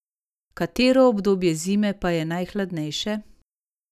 Katero obdobje zime pa je najhladnejše?